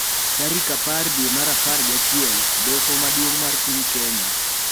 Tarik apar dwe mar apar gi achiel, Doho Maduong’ mar piny Kenya